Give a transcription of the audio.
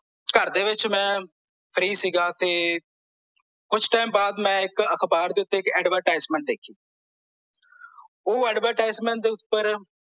ਘਰਦੇ ਵਿੱਚ ਮੈਂ ਫ਼੍ਰੀ ਸੀਗਾ ਤੇ ਕੁਛ ਟਾਈਮ ਬਾਅਦ ਮੈਂ ਅਖਬਾਰ ਦੇ ਉੱਤੇ ਇੱਕ advertisement ਦੇਖਿ ਓਹ advertisement ਦੇ ਉੱਪਰ